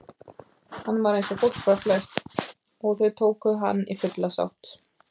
Hann var einsog fólk var flest og þau tóku hann í fulla sátt.